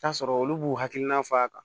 Taa sɔrɔ olu b'u hakilina fɔ a kan